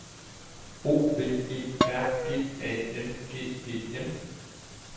O V E R G A N G E N